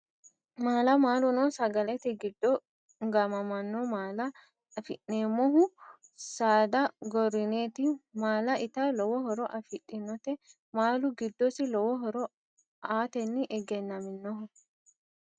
Maala maaluno sagalete giddo gaamamanno maala afi'neemmohu saada gorrineeti maala ita lowo horo afidhinote maalu giddosi lowo horo aatenni egennaminoho